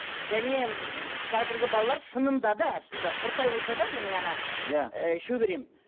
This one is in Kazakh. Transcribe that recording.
және м қазіргі балалар шынында да шынында да құрттай болса да менің иә ы шөберем